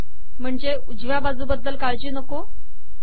म्हणजे उजव्या बाजूबद्दल काळजी नको